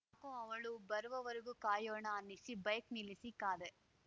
ಕೋ ಅವಳ ಬರುವವರೆಗೆ ಕಾಯೋಣ ಅನ್ನಿಸಿ ಬೈಕ್‌ ನಿಲ್ಲಿಸಿ ಕಾದೆ